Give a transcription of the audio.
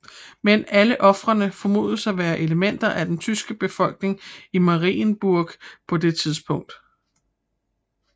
Men alle ofrene formodes at være elementer af den tyske befolkning i Marienburg på det tidspunkt